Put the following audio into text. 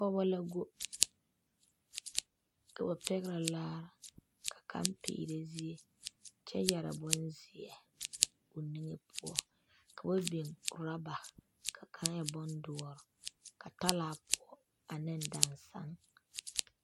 Pɔge la go ka ba pɛgere laare ka kaŋa peerɛ zie kyɛ yɛrɛ bonzeɛ a o niŋe poɔ ka ba biŋ orɔba ka kaŋ e bondoɔre ka talaa poɔ ane dansaŋ